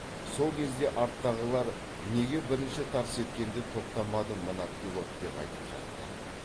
сол кезде арттағылар неге бірінші тарс еткенде тоқтамады мына пилот деп айтып жатты